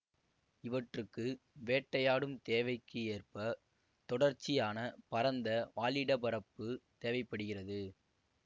இவற்றுக்கு வேட்டையாடும் தேவைக்கு ஏற்ப தொடர்ச்சியான பரந்த வாழிடப்பரப்பு தேவை படுகிறது